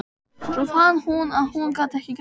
Svo fann hún að hún gat ekki grátið.